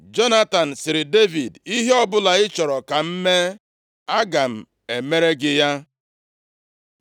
Jonatan sịrị Devid, “Ihe ọbụla ị chọrọ ka m mee, aga m emere gị ya.”